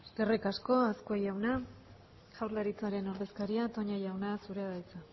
eskerrik asko azkue jauna jaurlaritzaren ordezkaria toña jauna zurea da hitza